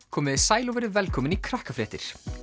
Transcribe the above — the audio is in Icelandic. komiði sæl og verið velkomin í Krakkafréttir